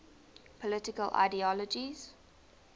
political ideologies